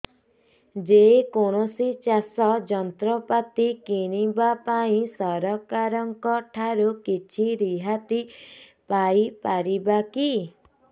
ଯେ କୌଣସି ଚାଷ ଯନ୍ତ୍ରପାତି କିଣିବା ପାଇଁ ସରକାରଙ୍କ ଠାରୁ କିଛି ରିହାତି ପାଇ ପାରିବା କି